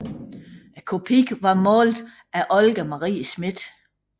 Kopien var malet af Olga Marie Smith